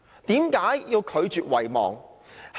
為何要拒絕遺忘？